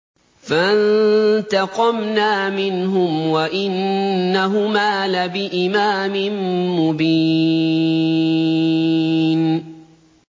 فَانتَقَمْنَا مِنْهُمْ وَإِنَّهُمَا لَبِإِمَامٍ مُّبِينٍ